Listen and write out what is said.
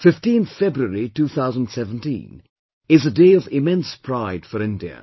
15th February, 2017 is a day of immense pride for India